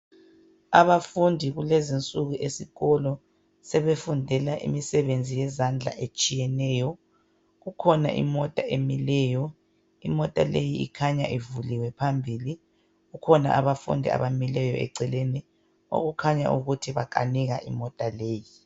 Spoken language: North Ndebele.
Abafundi kulezi nsuku esikolo sebefundela imsebenzi yezandla etshiyeneyo. Kukhona imota emileyo .Imota leyi ikhanya ivuliwe phambili Kukhona abafundi abamileyo eceleni okukhanya ukuthi bakanika imota leyi.